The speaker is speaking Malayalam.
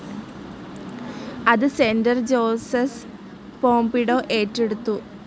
അത് സെന്റർ ജോർജസ് പോംപിഡോ ഏറ്റെടുത്തു.